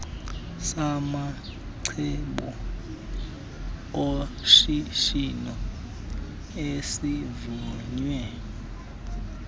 samacebo oshishino esivunywe